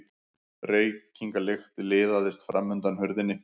Reykingalykt liðaðist fram undan hurðinni.